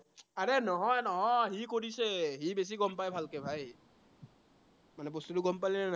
আৰে নহয়, নহয় সি কৰিছে, সি বেছি গম পায় ভালকে ভাই মানে বস্তুটো গম পালিনে নাই?